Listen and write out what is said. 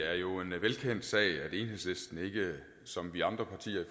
er jo en velkendt sag at enhedslisten ikke som vi andre partier